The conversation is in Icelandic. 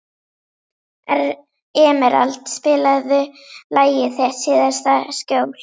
Emerald, spilaðu lagið „Þitt síðasta skjól“.